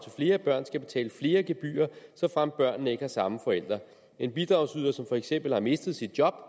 flere børn skal betale flere gebyrer såfremt børnene ikke har samme forældre en bidragsyder som for eksempel har mistet sit job